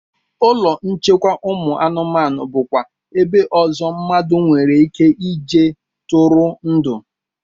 Ụlọ nchekwa ụmụ anụmanụ bụkwa ebe ọzọ mmadụ nwereike ije tụrụ ndụ